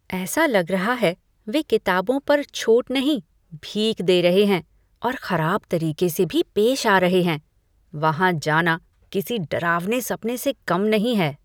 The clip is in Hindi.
ऐसा लग रहा है वे किताबों पर छूट नहीं भीख दे रहे हैं और खराब तरीके से भी पेश आ रहे हैं। वहां जाना किसी डरावने सपने से कम नहीं है।